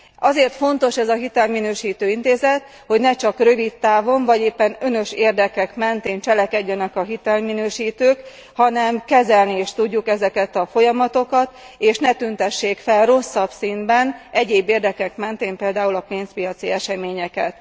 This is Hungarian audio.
Azért fontos ez a hitelminősítő intézet, hogy ne csak rövidtávon vagy éppen önös érdekek mentén cselekedjenek a hitelminősítők, hanem kezelni is tudjuk ezeket a folyamatokat, és ne tüntessék fel rosszabb színben egyéb érdekek mentén például a pénzpiaci eseményeket.